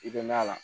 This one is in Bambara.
I bɛ na la